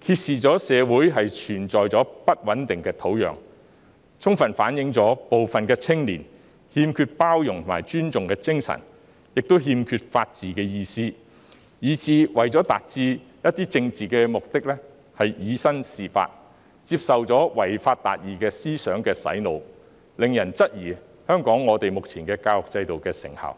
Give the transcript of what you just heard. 揭示了社會存在不穩定的土壤，充分反映部分青年不懂包容和尊重，亦欠缺法治精神，以致為達到一些政治目的而以身試法，接受了違法達義思想的洗腦，令人質疑香港目前的教育制度的成效。